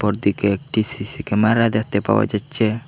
দিকে একটি CC camera দেখতে পাওয়া যাচ্ছে।